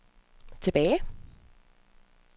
tilbage